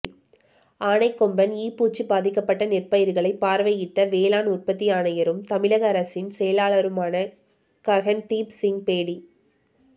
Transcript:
ஆனைக்கொம்பன் ஈ பூச்சி பாதிக்கப்பட்ட நெற்பயிர்களை பார்வையிட்ட வேளாண் உற்பத்தி ஆணையரும் தமிழக அரசின் செயலருமான ககன்தீப் சிங் பேடி